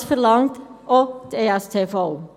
Dies verlangt auch die Steuerverwaltung.